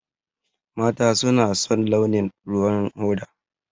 Mata suna son launin ruwan hoda.